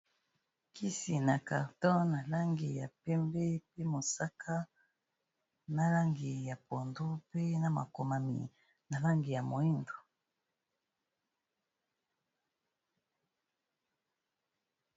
Kisi na carton na langi ya pembe pe mosaka na langi ya pondu pe na makomami na langi ya moyindo